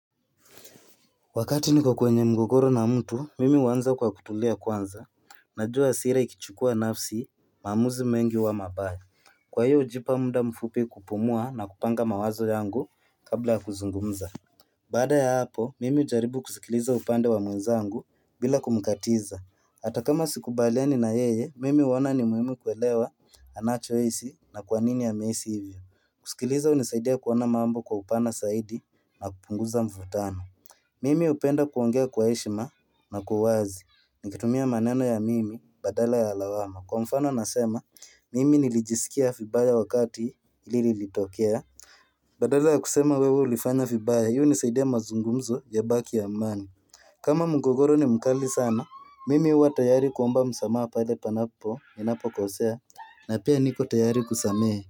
Wakati niko kwenye mgogoro na mtu mimi huanza kwa kutulia kwanza Najua hasira ikichukua nafsi maamuzi mengi huwa mabaya. Kwa hiyo hujipa muda mfupi kupumua na kupanga mawazo yangu kabla ya kuzungumza Baada ya hapo mimi hujaribu kusikiliza upande wa mwenzangu bila kumkatiza. Hata kama sikubaliani na yeye mimi huona ni muhimu kuelewa anachohisi na kwa nini amehisi hivyo. Kusikiliza hunisaidia kuona mambo kwa upana zaidi na kupunguza mvutano Mimi hupenda kuongea kwa heshima na kwa uwazi nikitumia maneno ya mimi badala ya lawama. Kwa mfano nasema mimi nilijiskia vibaya wakati hili lilitokea Badala ya kusema wewe ulifanya vibaya, hiunisaidia mazungumzo yabaki ya amani kama mgogoro ni mkali sana mimi huwa tayari kuomba msamaha pale panapo ninapokosea na pia niko tayari kusamehe.